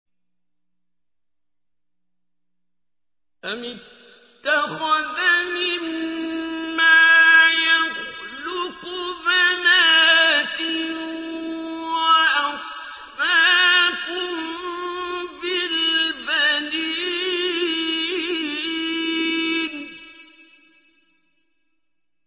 أَمِ اتَّخَذَ مِمَّا يَخْلُقُ بَنَاتٍ وَأَصْفَاكُم بِالْبَنِينَ